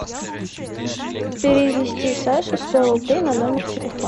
перевести саше сто рублей на номер телефона